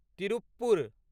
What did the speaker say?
Tiruppur